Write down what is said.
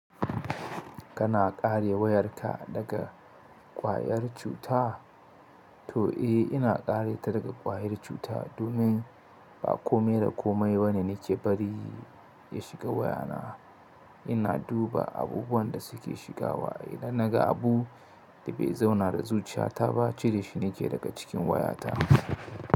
Kana kare wayarka daga ƙwayar cuta? To, eh, ina kare ta daga ƙwayar cuta domin ba komai da komai bane nake bari ya shiga wayana. Ina duba abubuwan da suke shigawa. Idan na ga abu da bai zauna da zuciyata ba, cire shi nake daga cikin wayata.